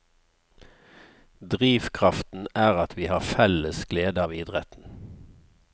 Drivkraften er at vi har felles glede av idretten.